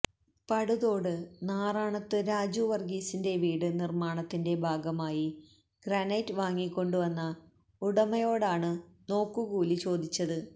പടുതോട് നാറാണത്ത് രാജു വർഗീസിന്റെ വീട് നിർമ്മാണത്തിന്റെ ഭാഗമായി ഗ്രാനൈറ്റ് വാങ്ങിക്കൊണ്ടുവന്ന ഉടമയോടാണ് നോക്കുകൂലി ചോദിച്ചത്